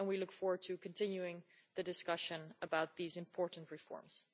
We look forward to continuing the discussion about these important reforms.